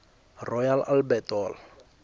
royal albert hall